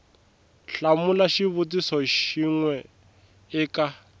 hlamula xivutiso xin we eka